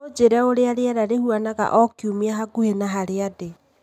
Ũnjĩre ũrĩa rĩera rĩhanaga o kiumia hakuhĩ na harĩa ndĩ.